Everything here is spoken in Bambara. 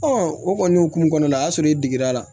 o kɔni hokumu kɔnɔna la o y'a sɔrɔ e digir'a la